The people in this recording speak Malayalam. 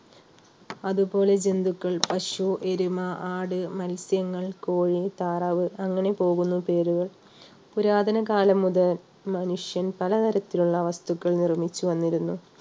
അതുപോലെ ജന്തുക്കൾ പശു, എരുമ, ആട്, മത്സ്യങ്ങൾ, കോഴി, താറാവ് അങ്ങനെ പോകുന്നു പേരുകൾ. പുരാതനകാലം മുതൽ മനുഷ്യൻ പലതരത്തിലുള്ള വസ്തുക്കൾ നിർമ്മിച്ചു വന്നിരുന്നു